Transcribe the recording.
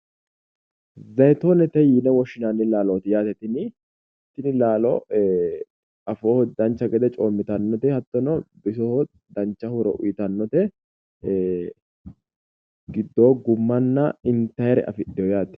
zayiitoonete yine woshshinanni laalooti yaate tini. Tini laalo afooho dancha gede coommitannote hattono bisoho dancha horo uyitannote gidoo gummanna intayiire afidhiyo yaate.